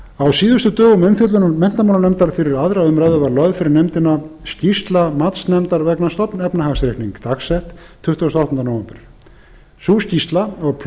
á síðustu dögum umfjöllunar menntamálanefndar um málið fyrir aðra umræðu var lögð fyrir nefndina skýrsla matsnefndar vegna stofnefnahagsreiknings dagsett tuttugasta og áttunda nóvember sú skýrsla og